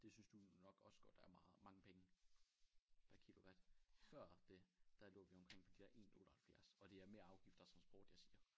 Det synes du nok også godt er meget mange penge per kilowatt før det der lå vi omkring på de der 1 78 og det er med afgifter og transport jeg siger